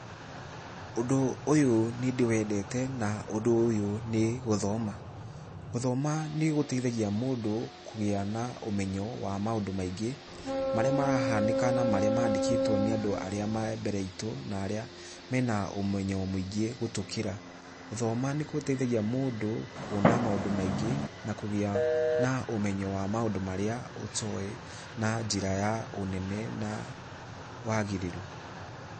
Ũndũ ũyũ nĩ ndĩwendete, na ũndu ũyũ nĩ gũthoma. Gũthoma nĩ gũteithagia mũndũ kũgĩa na ũmenyo wa maũndũ maingĩ, marĩa marahanĩka na marĩa mandĩkĩtwo nĩ andũ arĩa me mbere itũ, na arĩa mena ũmenyo mũingĩ gũtũkĩra. Gũthoma nĩ gũteithagia mũndũ kuona maũndũ maingĩ, na kũgĩa na ũmenyo wa maũndũ marĩa ũtoĩ na njĩra ya ũnene na wagĩrĩru.